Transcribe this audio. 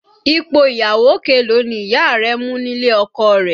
Ipò ìyàwó kelòó ni Ìyá rẹ mú nílé ọkọ rẹ̀?